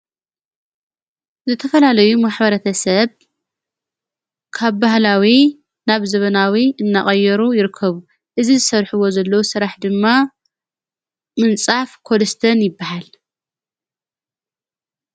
ዘተፈላለዩ መኅበረተሰብ ካ ባህላዊ ናብ ዘበናዊ እናቐየሩ ይርከብ እዝ ዝሠርሕዎ ዘለ ሥራሕ ድማ ምንጻፍ ኮድስትን ይበሃል::